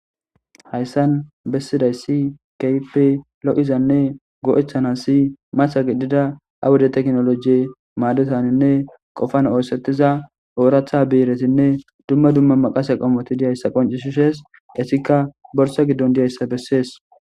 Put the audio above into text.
Hayissan bessidayisi keype lo'izanne go'ethana si masa giddida awuda teknolojie maadutaninne qofan oosettiza ooratha biiretinne dumma dumma maqasa qomoti diyayssa qoncishishees esikka borsa giddon diyayssa bessees